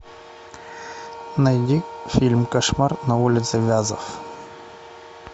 найди фильм кошмар на улице вязов